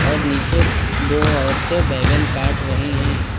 नीचे दो औरतें बैगन काट रही हैं।